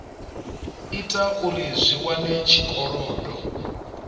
ita uri zwi wane tshikolodo